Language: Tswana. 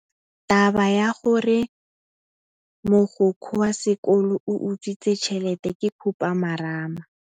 Taba ya gore mogokgo wa sekolo o utswitse tšhelete ke khupamarama.